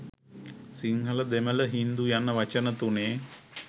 සිංහල දෙමළ හින්දු යන වචන තුනේ